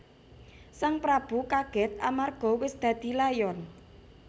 Sang prabu kagèt amarga wis dadi layon